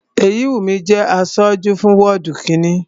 Èyíwùnmí jẹ́ aṣojú fún wọ́ọ̀dù kínni